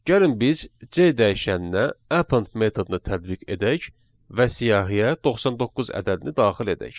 Gəlin biz C dəyişəninə append metodunu tətbiq edək və siyahıya 99 ədədini daxil edək.